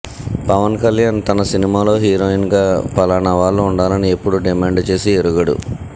పవన్కళ్యాణ్ తన సినిమాలో హీరోయిన్గా ఫలానా వాళ్లు ఉండాలని ఎప్పుడూ డిమాండ్ చేసి ఎరుగడు